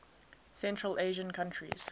central asian countries